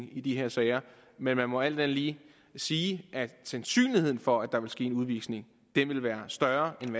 i de her sager men man må alt andet lige sige at sandsynligheden for at der ville ske en udvisning ville være større end